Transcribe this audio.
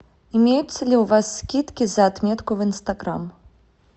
имеются ли у вас скидки за отметку в инстаграм